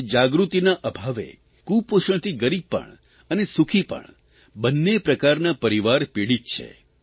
આજે જાગૃતિના અભાવે કુપોષણથી ગરીબ પણ અને સુખી પણ બન્ને પ્રકારના પરિવાર પીડિત છે